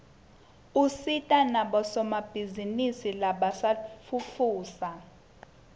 usita nabosomabhizinisi labasafufusa